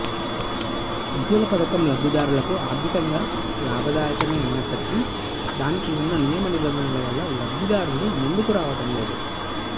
ఉజ్వల పథకం లబ్ధిదారులకు ఆర్థికంగా లాభదాయకమే అయినప్పటికీ దానికి ఉన్న నియమ నిబంధనల వల్ల లబ్ధిదారులు ముందుకు రావటం లేదు